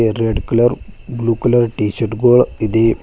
Red colour blue colour T shirt ಗೊಳ್ ಇದೆ.